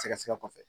Sɛgɛsɛgɛ kɔfɛ